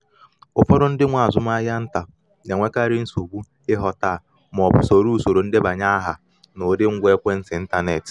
ọtụtụ mgbe mgbe ọ na-enwe ntaramahụhụ um n’obi maka ileghara mkpa onwe um ya anya iji nyere nwanne ya aka nihe um gbasara ego